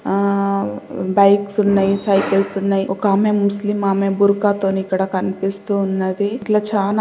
ఆ బైక్స్ ఉన్నయి సైకిల్స్ ఉన్నయి ఒక ఆమె ముస్లిం ఆమె బుర్కా తోని ఇక్కడ కనిపిస్తూ ఉన్నది. ఇట్లా చానా--